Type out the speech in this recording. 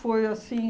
assim...